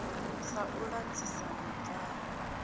sa u ḓadzisa hu bvaho